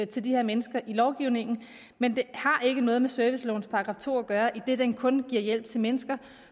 til de her mennesker i lovgivningen men det har ikke noget med servicelovens § to at gøre idet den kun giver hjælp til mennesker